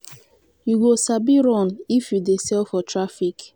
you go sabi run if you dey sell for traffic.